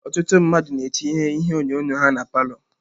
Ọtụtụ ndị mmadụ na-etinye ihe onyonyo ha na palọ.